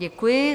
Děkuji.